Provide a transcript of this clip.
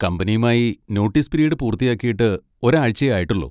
കമ്പനിയുമായി notice period പൂർത്തിയാക്കിയിട്ട് ഒരാഴ്ചയേ ആയിട്ടുള്ളൂ.